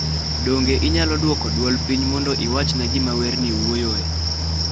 Donge inyalo dwoko dwol piny mondo iwachna gima werni wuoyoe?